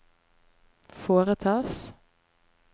foretas